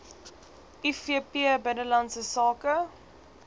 ivp binnelandse sake